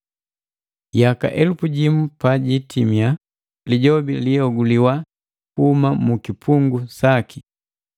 Yaka elupu jimu pa jiitimia, Lijobi liihoguliwa kuhuma mu kipungu saki.